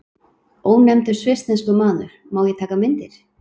Ónefndur svissneskur maður: Má ég taka myndir?